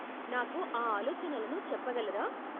నాకు ఆ ఆలోచనలను చెప్పగలరా?